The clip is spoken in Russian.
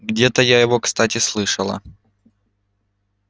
где-то я его кстати слышала